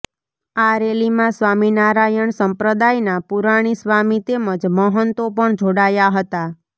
આ રેલીમાં સ્વામિનારાયણ સંપ્રદાયના પુરાણી સ્વામી તેમજ મહંતો પણ જોડાયા હતા